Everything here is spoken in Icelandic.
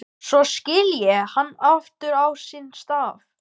Annað atriði er jafn mikilvægt að hugleiða, siðfræðilega séð.